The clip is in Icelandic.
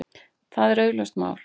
Það er augljóst mál.